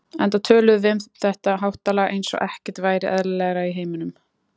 Enda töluðum við um þetta háttalag eins og ekkert væri eðlilegra í heiminum.